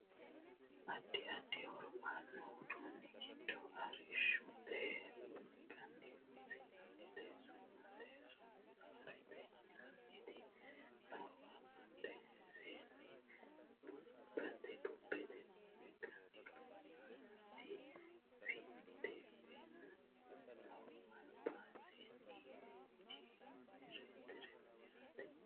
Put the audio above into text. addi addi horo aanno uduunni giddo arrishshote wolqanni loossannoti su'mase soolaarete yinanniti noowa badheseenni bubbete wolqanni loossaannoti vindiweene no albaseenni jenereetere no yaate